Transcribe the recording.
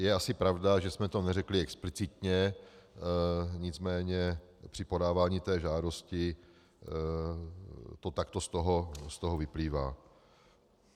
Je asi pravda, že jsme to neřekli explicitně, nicméně při podávání té žádosti to takto z toho vyplývá.